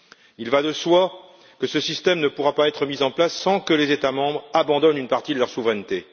Il va de soi que ce système ne pourra pas être mis en place sans que les États membres n'abandonnent une partie de leur souveraineté.